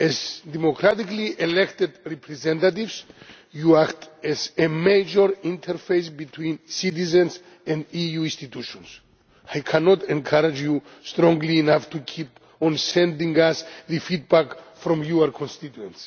As democratically elected representatives, you act as a major interface between citizens and EU institutions. I cannot encourage you strongly enough to keep on sending us feedback from your constituents.